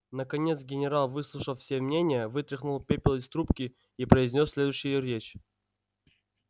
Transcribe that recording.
наконец генерал выслушав все мнения вытряхнул пепел из трубки и произнёс следующую речь